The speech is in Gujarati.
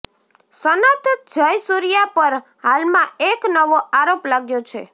સનથ જયસૂર્યા પર હાલમાં એક નવો આરોપ લાગ્યો છે